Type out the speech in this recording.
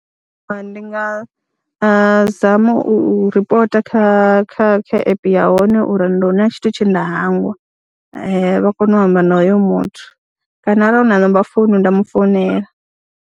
Ndi nga zama u ripota kha kha kha app ya hone uri ndi hu na tshithu tshe nda hangwa, vha kone u amba na hoyo muthu kana arali hu na namba founu nda mu founela.